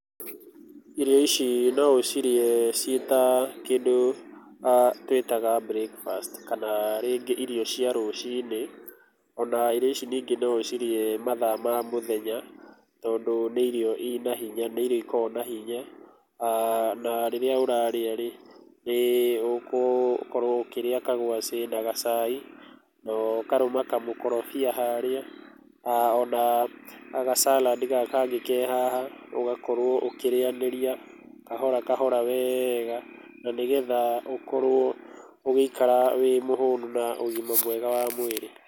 Irio ici no ũcirĩe ciĩta kĩndũ twĩtaga breakfast, kana rĩngĩ irio cia rũcinĩ. Ona irio ici rĩngĩ no ũcirĩe mathaa ma mũthenya, tondũ nĩ irio ina hinya, nĩ irio ikoragwo na hinya na rĩrĩa ũrarĩa rĩ, nĩ ũgũkorwo ũkĩrĩa kagwaci na gacai na ũkarũma kamũkorobia harĩa ona ga salad gaka kangĩ ke haha, ũgakorwo ũkĩrĩanĩria kahora kahora wega, na nĩgetha ũkorwo ũgĩikara wĩ mũhũnu na ũgima mwega wa mwĩrĩ.